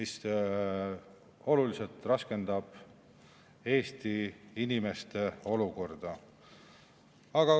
See raskendab tuntavalt Eesti inimeste olukorda.